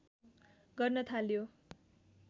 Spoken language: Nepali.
गर्न थाल्यो